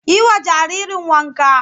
Yi wa jaririn wanka!